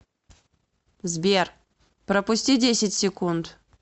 сбер пропусти десять секунд